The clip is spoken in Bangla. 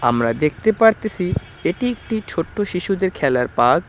আমরা দেখতে পারতেসি এটি একটি ছোট্ট শিশুদের খেলার পার্ক ।